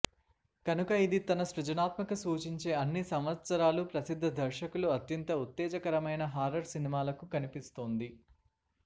కనుక ఇది తన సృజనాత్మక సూచించే అన్ని సంవత్సరాలు ప్రసిద్ధ దర్శకులు అత్యంత ఉత్తేజకరమైన హారర్ సినిమాలు కనిపిస్తోంది